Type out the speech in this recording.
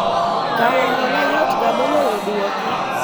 kawo hola yotga moloyo duoke